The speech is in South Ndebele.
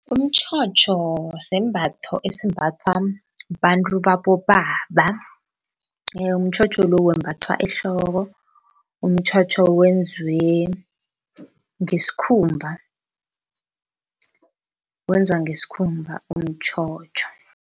Umtjhotjho sisembatho esimbathwa babantu babobaba, umtjhotjho lo wembathwa ehloko, umtjhotjho wenziwe ngesikhumba. Wenzwa ngesikhumba umtjhotjho.